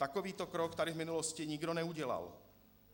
Takovýto krok tady v minulosti nikdo neudělal.